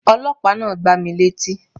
Ọlọ́pàá náà gbá mi létí